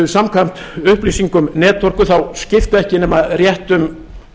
samkvæmt upplýsingum netorku þá skipta ekki nema rétt um